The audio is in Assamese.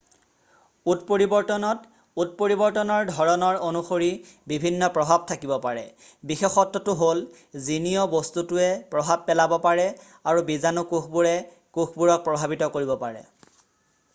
উৎপৰিবৰ্তনত উৎপৰিবৰ্তনৰ ধৰণৰ অনুসৰি বিভিন্ন প্ৰভাৱ থাকিব পাৰে বিশেষত্বটো হ'ল জীনীয় বস্তুটোৱে প্ৰভাৱ পেলাব পাৰে আৰু বিজানু কোষবোৰে কোষবোৰক প্ৰভাৱিত কৰিব পাৰে